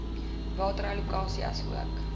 water allokasie asook